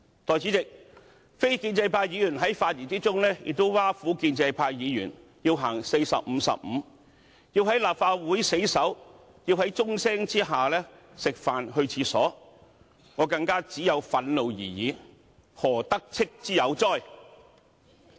代理主席，非建制派議員在發言中亦挖苦建制派議員要實行"逢45分休息15分鐘"的策略，要在立法會死守，要在鐘聲下吃飯和上廁所，我只有憤怒而已，何"得戚"之有哉？